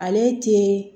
Ale tɛ